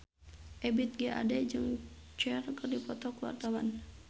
Ebith G. Ade jeung Cher keur dipoto ku wartawan